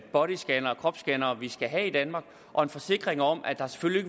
bodyscannere kropsscannere vi skal have i danmark og en forsikring om at der selvfølgelig